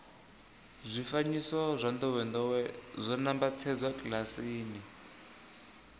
zwifanyiso zwa ndowendowe zwo nambatsedzwa kilasini